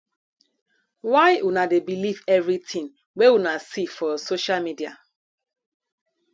why una dey believe everytin wey una see for see for social media